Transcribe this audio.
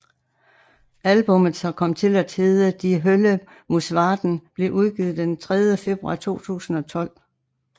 Albummet som kom til at hedde Die Hölle muss warten blev udgivet den 3 februar 2012